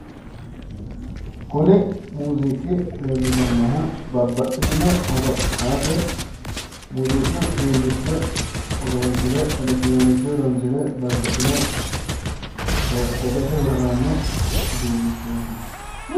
Kuni muuziiqi leellishannohu babbaxitino horo aate muuziqu uduunnicho horonssire elekitiroonikise horoonsire babbaxino daggate horo aanno uduunnichooti.